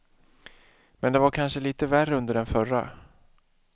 Men det var kanske lite värre under den förra.